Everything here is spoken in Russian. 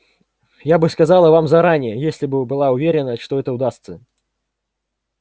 я бы сказала вам заранее если бы была уверена что это удастся